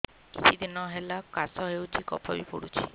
କିଛି ଦିନହେଲା କାଶ ହେଉଛି କଫ ବି ପଡୁଛି